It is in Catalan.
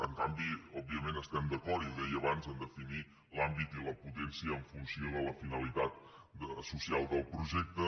en canvi òbviament estem d’acord i ho deia abans a definir l’àmbit i la potència en funció de la finalitat social del projecte